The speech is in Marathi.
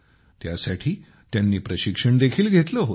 त्यासाठी त्यांनी प्रशिक्षण देखील घेतले होते